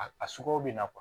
A a sugu bɛ na kuwa